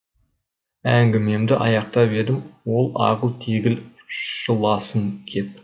әңгімемді аяқтап едім ол ағыл тегіл жыласын кеп